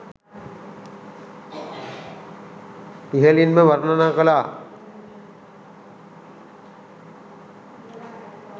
ඉහලින්ම වර්ණනා කලා